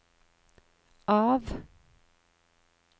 av